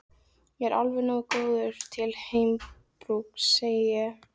Ég er alveg nógu góður til heimabrúks, segi ég.